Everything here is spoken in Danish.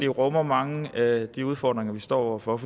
rummer mange af de udfordringer vi står over for